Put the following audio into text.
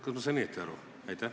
Kas ma sain õigesti aru?